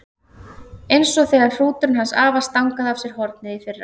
Eins og þegar hrúturinn hans afa stangaði af sér hornið í fyrra.